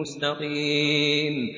مُّسْتَقِيمٍ